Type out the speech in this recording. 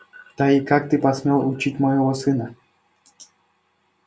да и как ты посмел учить моего сына